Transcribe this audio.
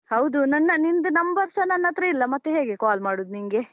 ಹೌದು, ನನ್ನ ನಿನ್ದು number ಸ ನನ್ನತ್ರ ಇಲ್ಲ, ಮತ್ತೆ ಹೇಗೆ call ಮಾಡುದು ನಿನ್ಗೆ?